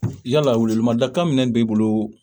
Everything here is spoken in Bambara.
Yala welewelemada kan min b'i bolo